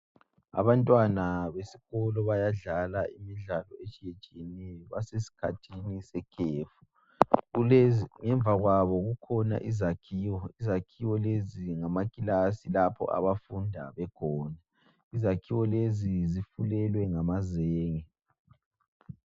Abantwana besikolo bayadlala imidlalo etshiye etshiyeneyo basesikhathini sekhefu kulezi ngemva kwabo kukhona izakhiwo, izakhiwo lezi ngamakilasi lapho abafunda bekhona, izakhiwo lezi zifulelwe ngamazenge.